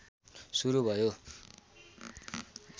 सुरु भयो।